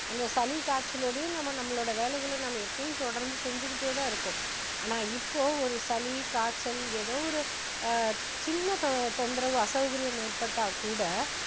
அந்த சளி காய்ச்சலோடையும் நம்ம நம்மளோட வேலைகளை நம்ம எப்பயும் தொடர்ந்து செஞ்சுகிட்டே தான் இருப்போம் ஆனா இப்போ ஒரு சளி, காய்ச்சல் ஏதோ ஒரு அஹ் சின்ன தொ~தொந்தரவு அசௌகரியம் ஏற்பட்டா கூட